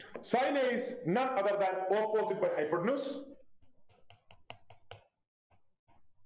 Sin a is none other than opposite by hypotenuse